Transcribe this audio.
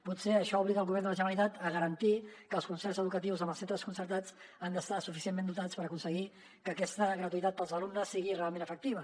potser això obliga el govern de la generalitat a garantir que els concerts educatius amb els centres concertats han d’estar suficientment dotats per aconseguir que aquesta gratuïtat per als alumnes sigui realment efectiva